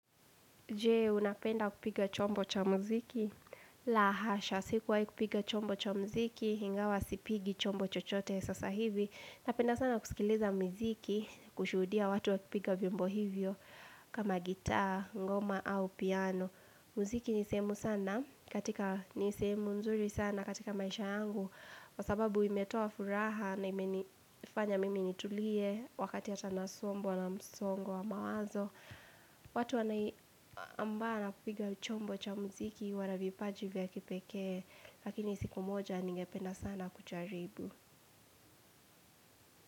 Jee, unapenda kupiga chombo cha muziki? La hasha, sikuwai kupiga chombo cha muziki, hingawa sipigi chombo chochote, sasa hivi. Napenda sana kusikiliza miziki, kushuhudia watu wakipiga vyombo hivyo, kama gitaa, ngoma, au piano. Muziki nisehemu nzuri sana katika maisha angu. Kwa sababu imetoa furaha na imenifanya mimi nitulie, wakati hata nasombwa na msongo wa mawazo. Watu ambao wanapiga chombo cha mziki wana vipaji vya kipekee Lakini siku moja ningependa sana kujaribu.